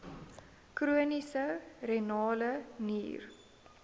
chroniese renale nier